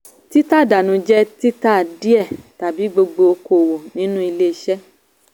tí tà dànù jẹ́ títa díẹ̀ tàbí gbogbo okòwò nínú ilé iṣẹ́.